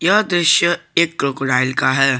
यह दृश्य एक क्रोकोडाइल का है।